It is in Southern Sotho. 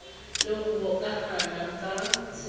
le ho hokahana ka tshebetso